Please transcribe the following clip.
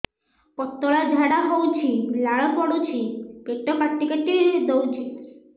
ପତଳା ଝାଡା ହଉଛି ଲାଳ ପଡୁଛି ପେଟ କାଟି କାଟି ଦଉଚି